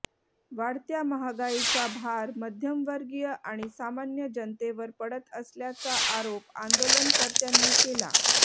वाढत्या महागाईचा भार मध्यमवर्गीय आणि सामान्य जनतेवर पडत असल्याचा आरोप आंदोलनकर्त्यांनी केला